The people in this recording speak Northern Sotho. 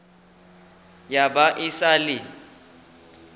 ya ba e sa le